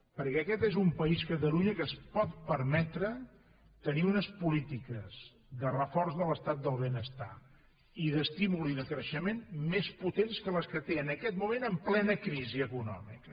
perquè aquest és un país catalunya que es pot permetre tenir unes polítiques de reforç de l’estat del benestar i d’estímul i de creixement més potents que les que té en aquest moment en plena crisi econòmica